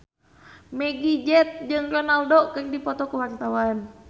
Meggie Z jeung Ronaldo keur dipoto ku wartawan